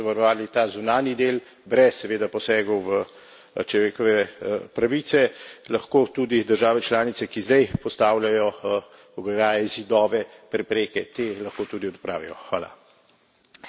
In če bomo dobro in učinkovito zavarovali ta zunanji del, brez seveda posegov v človekove pravice, lahko tudi države članice, ki zdaj postavljajo ograje, zidove, prepreke, te lahko tudi odpravijo.